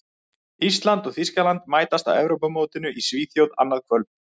Ísland og Þýskaland mætast á Evrópumótinu í Svíþjóð annað kvöld.